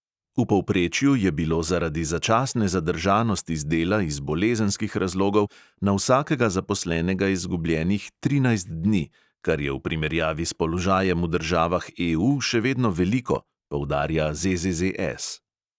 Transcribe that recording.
V povprečju je bilo zaradi začasne zadržanosti z dela iz bolezenskih razlogov na vsakega zaposlenega izgubljenih trinajst dni, kar je v primerjavi s položajem v državah EU še vedno veliko, poudarja ZZZS.